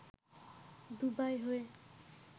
Dubai হয়ে